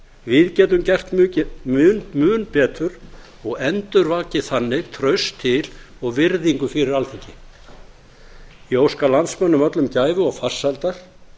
við getum gert mun betur og endurvakið þannig traust til og virðingu fyrir alþingi ég óska landsmönnum öllum gæfu og farsældar